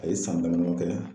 A ye san dama dama kɛ